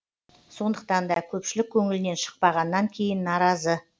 сондықтан да көпшілік көңілінен шықпағаннан кейін наразы